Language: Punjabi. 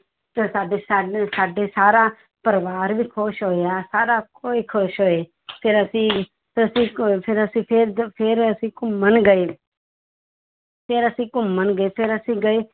ਤੇ ਸਾਡੀ ਸਾਡਾ ਸਾਰਾ ਪਰਿਵਾਰ ਵੀ ਖ਼ੁਸ਼ ਹੋਇਆ ਸਾਰਾ ਕੋਈ ਖ਼ੁਸ਼ ਹੋਏ ਫਿਰ ਅਸੀ ਫਿਰ ਅਸੀਂ ਅਹ ਫਿਰ ਅਸੀਂ ਫਿਰ ਜ~ ਫਿਰ ਅਸੀਂ ਘੁੰਮਣ ਗਏ ਫਿਰ ਅਸੀਂ ਘੁੰਮਣ ਗਏ ਫਿਰ ਅਸੀਂ ਗਏ